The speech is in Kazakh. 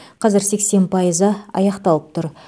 қазір сексен пайызы аяқталып тұр